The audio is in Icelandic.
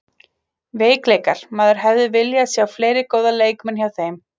Veikleikar: Maður hefði viljað sjá fleiri góða leikmenn hjá þeim.